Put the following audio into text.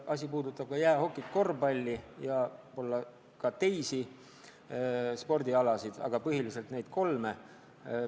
Ning asi puudutab ka jäähokit, korvpalli ja võib-olla teisigi spordialasid, aga põhiliselt neid kolme.